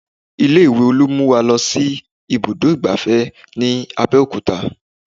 Ilé ìwé Olú mú wa lọ sí ibùdó ìgbáfẹ́ ní Abeokuta